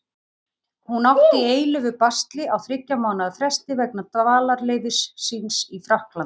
Hún átti í eilífu basli á þriggja mánaða fresti vegna dvalarleyfis síns í Frakklandi.